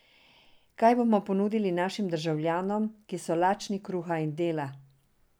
Kaj bomo ponudil našim državljanom, ki so lačni kruha in dela?